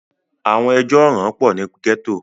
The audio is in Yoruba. àwọn ẹjọ́ ọ̀ràn pọ̀ ní gẹ́tò